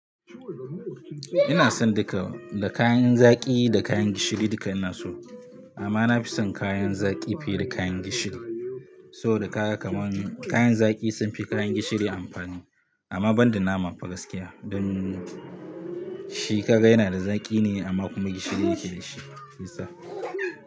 Ina son duka, da kayan zaƙi da kayan gishiri duka ina so. Amma na fi son kayan zaƙi fiye da kayan gishiri. Saboda kaya kaman kayan zaƙi sun fi kayan gishiri amfani. Amma banda nama fa gaskiya, don shi kaga yana da zaƙi ne amma kuma gishiri yake da shi, shisa.